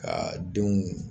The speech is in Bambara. Ka denw